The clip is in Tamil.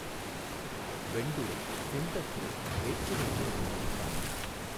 வெண்டுறை, செந்தஃறை வேற்றுமை தெரியும்படிப் பாடினாள்